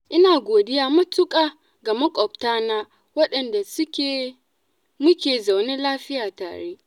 ina godiya matuƙa ga maƙwabtana, waɗanda muke zaune lafiya tare.